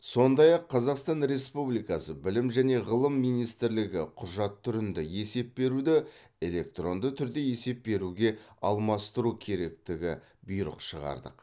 сондай ақ қазақстан республикасы білім және ғылым министрлігі құжат түрінді есеп беруді электронды түрде есеп беруге алмастыру керектігі бұйрық шығардық